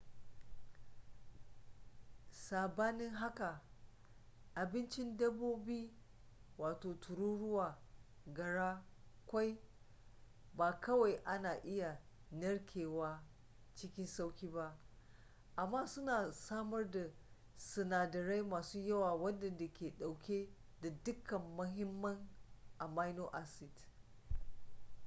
sabanin haka abincin dabbobi tururuwa gara ƙwai ba kawai ana iya narkewa cikin sauƙi ba amma suna samar da sunadarai masu yawa waɗanda ke ɗauke da dukkan muhimman amino acid